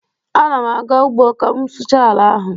Ana m aga ugbo ka m sụchaa ala ahụ